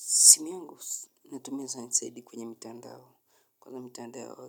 Simu yangu inatumia zaidi kwenye mitandao mitandao